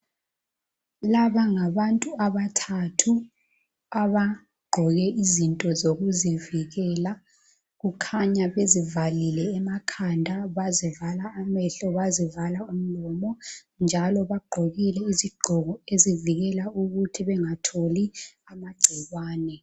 Laba ngabantu abathathu abagqoke izinto zokuzivikela. Kukhanya bezivalile emakhanda, bazivala amehlo, bazivala imlomo njalo bagqokile izigqoko ezivikela ukuthi bengatholi amagcikwane.